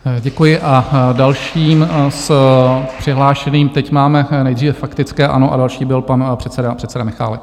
Děkuji a dalším z přihlášených - teď máme nejdříve faktické ANO a další byl pan předseda Michálek.